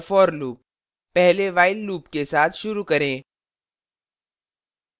for loop पहले while loop के साथ शुरू करें